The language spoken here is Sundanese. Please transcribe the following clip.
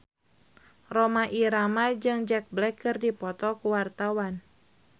Rhoma Irama jeung Jack Black keur dipoto ku wartawan